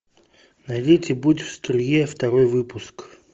найдите будь в струе второй выпуск